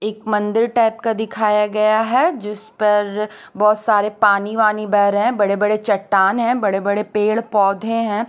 एक मन्दिर टाइप का दिखाया गया है जिस पर बहोत सारे पानी वानी बह रहे हैं बड़े बड़े चट्टान है बड़े बड़े पेड़ पौधे है।